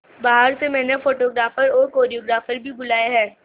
बाहर से मैंने फोटोग्राफर और कोरियोग्राफर बुलाये है